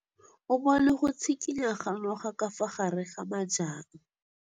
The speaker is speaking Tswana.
O bone go tshikinya ga noga ka fa gare ga majang.